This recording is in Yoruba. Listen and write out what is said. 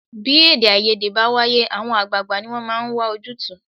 Bí èdèàìyedè bá wáyé, àwọn àgbààgbà ni wọ́n máa ń wà ojútùú